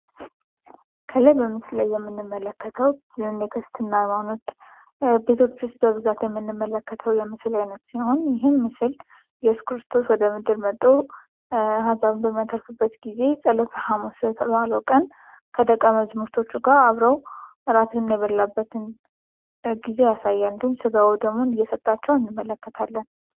ከላይ በምስሉ ላይ የምንመለከተው የክርስትና ሀይማኖት ቤቶች ውስጥ በብዛት የምንመለከተው የክርስትና ሀይማኖት ቤቶች ውስጥ በብዛ የምንመለከተው የምስል አይነት ሲሆን ይህም ምስል እየሱስ ክርስቶስ ወደምድር መቶ አህዛብን በሚያተርፍበት ጊዜ ፀሎተ ሀሙስ የተባለው ቀን ከደቀመዝሙሮቹ ጋር አብረው እራትን የበሉበትን ጊዜ ያሳያል። እንዲሁም ስጋዎ ደሙን እየሰጣቸው እንመለከታለን።